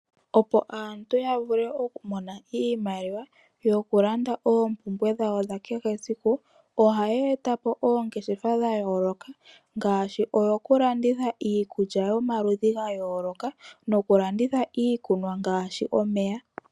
Opo aantu ya mone iimaliwa yokulanda oompumbwe dhawo dhakehe esiku ohaye ta po ongeshefa dhayoloka ngaashi yo kulanditha iikulya yomaludhi ga yoloka nokulanditha iikunwa ngaashi omeya.